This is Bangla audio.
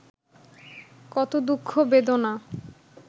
কত দুঃখ, বেদনা